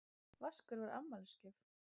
Vaskur var afmælisgjöf.